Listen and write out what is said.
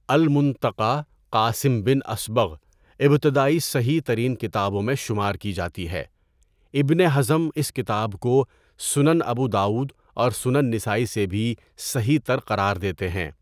المُنتَقیٰ قاسم بن اصبغ ابتدائی صحیح ترین کتابوں میں شمار کی جاتی ہے، ابن حزم اس کتاب کو سنن ابو داؤد اور سنن نسائی سے بھی صحیح تر قرار دیتے ہیں۔